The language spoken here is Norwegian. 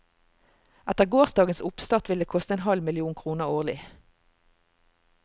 Etter gårsdagens oppstart vil det koste en halv million kroner årlig.